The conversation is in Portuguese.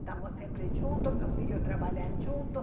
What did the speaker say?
Estamos sempre juntos, meus filhos trabalham juntos.